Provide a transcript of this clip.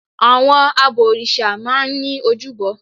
Àwọn abọ̀rìṣà máa n ní ojúbọ